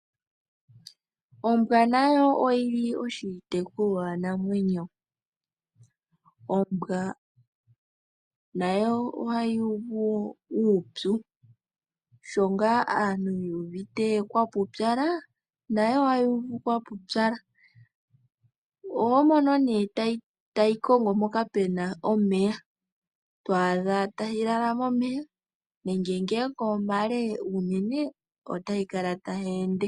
Ombwa nayo oyili oshitekulwanamwenyo. Ombwa nawo ohayi uvu uupyu , sho ngaa aantu yu uvite kwa popyala nayo ohayi uvu kwa popyala. Oho mono nee tayi kongo mpoka pena omeya ,twaadha tayi lala momeya nenge ngele omale unene ,otayi kala tayi ende.